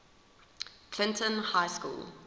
clinton high school